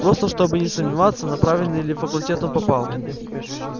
просто чтобы не сомневаться на правильный ли факультет он попал